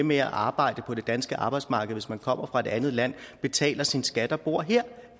med at arbejde på det danske arbejdsmarked hvis man kommer fra et andet land betaler sin skat og bor her